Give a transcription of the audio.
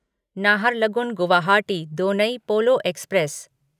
Naharlagun Guwahati Donyi Polo express